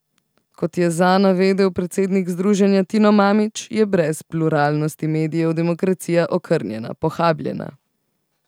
Kot je za navedel predsednik združenja Tino Mamić, je brez pluralnosti medijev demokracija okrnjena, pohabljena.